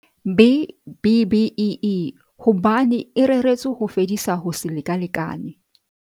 B-BBEE hobane e reretswe ho fedisa ho se lekalekane.